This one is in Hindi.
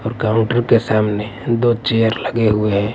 और काउंटर के सामने दो चेयर लगे हुए हैं।